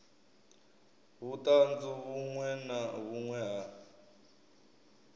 vhuṱanzu vhuṅwe na vhuṅwe ha